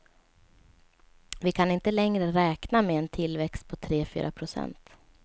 Vi kan inte längre räkna med en tillväxt på tre fyra procent.